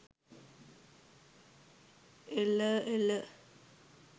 ඒල ඒල